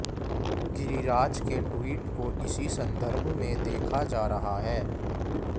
गिरिराज के ट्वीट को इसी संदर्भ में देखा जा रहा है